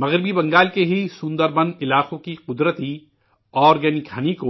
مغربی بنگال کے ہی سندر بن علاقوں کا قدرتی آرگینک شہد